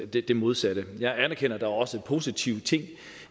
det det modsatte jeg anerkender at der også er positive ting